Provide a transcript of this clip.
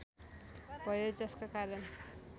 भयो जसका कारण